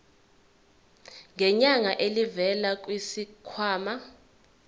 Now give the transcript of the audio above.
ngenyanga elivela kwisikhwama